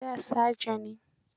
Da saja ne.